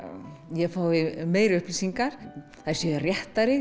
ég fái meiri upplýsingar þær séu réttari